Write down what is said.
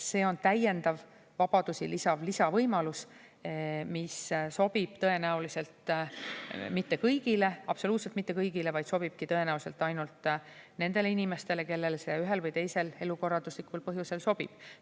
See on täiendav vabadusi lisav lisavõimalus, mis sobib tõenäoliselt mitte kõigile, absoluutselt mitte kõigile, vaid sobibki tõenäoliselt ainult nendele inimestele, kellele see ühel või teisel elukorralduslikul põhjusel sobib.